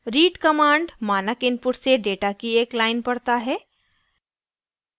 read command मानक input से data की एक line पढ़ता है